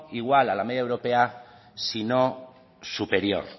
igual a la media europea si no superior